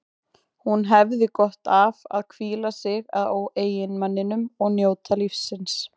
Hún hefði gott af að hvíla sig á eiginmanninum og njóta lífsins.